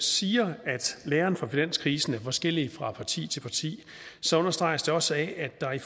siger at læren fra finanskrisen er forskellig fra parti til parti så understreges også af at der i